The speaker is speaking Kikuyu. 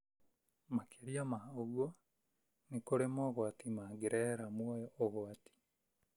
Makĩria ma ũguo, nĩ kũrĩ mogwati mangĩrehera muoyo ũgwati.